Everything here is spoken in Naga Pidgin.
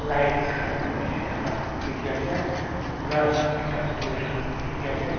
lights khan bishi thaka dikhi ase grass ekta durja dikhi ase.